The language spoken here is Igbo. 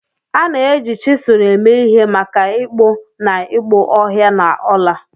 A na-eji chizul eme ihe maka ịkpụ na ịkpụ ọhịa na ọla